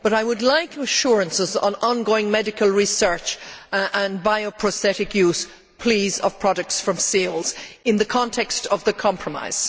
I would like assurances on ongoing medical research and bioprosthetic use of products from seals in the context of the compromise.